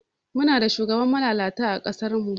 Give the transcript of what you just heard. Muna da shugabani malalata ã kasar mu.